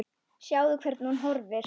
Sjáðu, hvernig hún horfir!